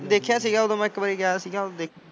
ਦੇਖਿਆ ਸੀਗਾ ਓਦੋਂ ਮੈਂ ਇਕ ਵਾਰੀ ਗਯਾ ਸੀਗਾ ਓਦੋ ਦੇਖਿਆ ਸੀ।